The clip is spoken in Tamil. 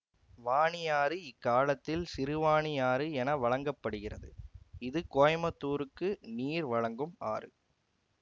வானியாறு இக்காலத்தில் சிறுவானியாறு என வழங்க படுகிறது இது கோயமுத்தூருக்கு நீர் வழங்கும் ஆறு